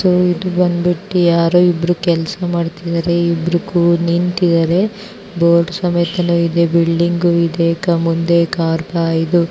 ಈದ್ ಬಂದ್ಬಿಟ್ಟು ಯಾರೋ ಇಬ್ರು ಕೆಲಸ ಮಾಡ್ತಾ ಇಬ್ರು ನಿಂತಿದೆ ಇದಾರೆ ಬೋರ್ಡ್ ಸಮೇತನು ಇದೆ ಬಿಲ್ಡಿಂಗ್ ಇದೆ --